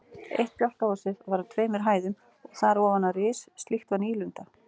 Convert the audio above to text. Eitt bjálkahúsið var á tveimur hæðum og þar ofan á ris, slíkt var nýlunda.